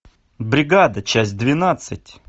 бригада часть двенадцать